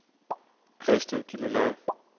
Græsted-Gilleleje